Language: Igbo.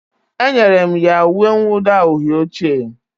Enyere m ya uwe mwụda uhie oche